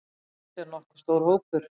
Þetta er nokkuð stór hópur.